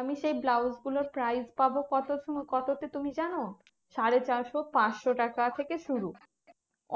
আমি সেই ব্লউসগুলোর price পাবো কত কততে তুমি জানো? সাড়ে চারশো পাঁচশো টাকা থেকে শুরু।